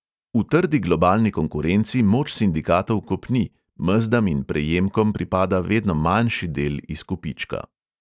V trdi globalni konkurenci moč sindikatov kopni, mezdam in prejemkom pripada vedno manjši del izkupička.